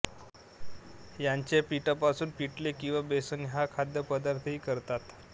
याचे पिठापासून पिठले किंवा बेसन हा खाद्यपदार्थही करतात